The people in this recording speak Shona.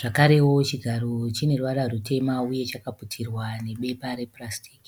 Zvakarewo chigaro chine ruvara rutema uye chakaputirwa nebepa replastic .